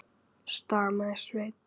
stamaði Svenni.